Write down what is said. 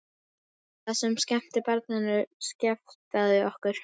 Það sem skemmti barninu skelfdi okkur.